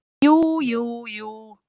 Jú, jú, jú